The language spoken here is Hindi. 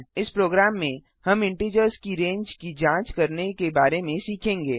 इस प्रोग्राम में हम इंटिजर्स की रेंज की जांच करने के बारे में सीखेंगे